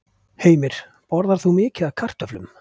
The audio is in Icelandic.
Heimir: Borðar þú mikið af kartöflum?